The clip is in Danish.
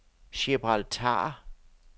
Gibraltar